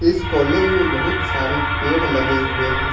इस कॉलेज में बहुत सारे पेड़ लगे हुए हैं।